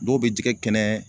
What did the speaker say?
Dɔw be jɛgɛ kɛnɛ